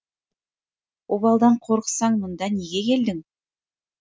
обалдан қорықсаң мұнда неге келдің